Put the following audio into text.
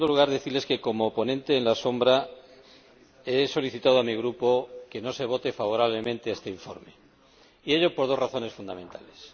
En segundo lugar, decirles que como ponente alternativo he solicitado a mi grupo que no se vote favorablemente a este informe, y ello por dos razones fundamentales.